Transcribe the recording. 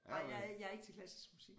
Nej jeg er jeg er ikke til klassisk musik